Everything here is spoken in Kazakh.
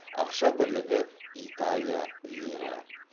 ақша бірлігі италия лирі